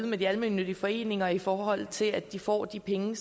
med de almennyttige foreninger derude i forhold til at de får de penge